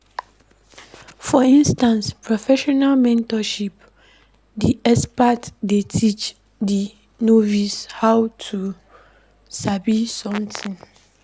For inside professional mentorship di expert dey teach di novice how to sabi something